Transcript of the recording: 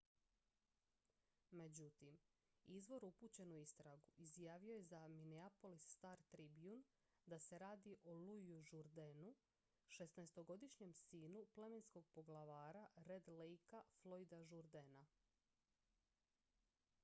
međutim izvor upućen u istragu izjavio je za minneapolis star-tribune da se radi o louisu jourdainu 16-godišnjem sinu plemenskog poglavara red lakea floyda jourdaina